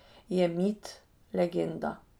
Je mit, legenda.